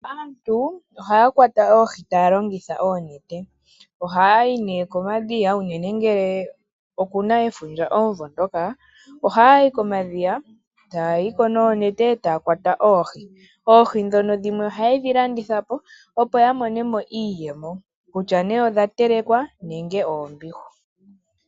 Aantu ohaya kwata oohi taya longitha oonete. Ohayayi ne komadhiya uunene ngele okuna efundja omumvo ngoka. Ohayayi komadhiya taya yiko noonete taya kwata oohi. Oohi ndhono dhimwe ohaye dhilanditha po opo yamone mo iiyemo kutya ne odha telekwa nenge oombihu.